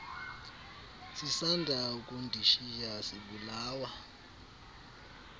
sisanda ukundishiya sibulawa